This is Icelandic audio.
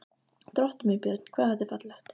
Drottinn minn, Björn, hvað þetta er fallegt!